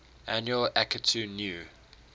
annual akitu new